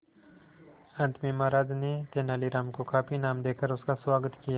अंत में महाराज ने तेनालीराम को काफी इनाम देकर उसका स्वागत किया